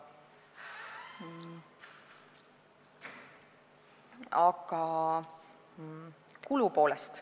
Aga nüüd kulupoolest.